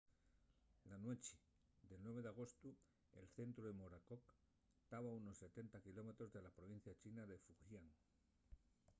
na nueche del 9 d'agostu el centru del morakot taba a unos setenta kilómetros de la provincia china de fujian